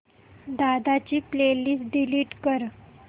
दादा ची playlist delete कर